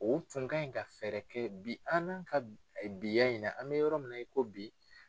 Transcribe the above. O tun ka ɲi ka fɛɛrɛ kɛ bi an n'an ka biya in nan an bɛ yɔrɔ min na i ko bi.